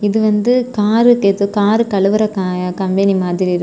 இது வந்து காரு ஏதோ கார் கழுவுற கம்பெனி மாதிரி இருக்கு.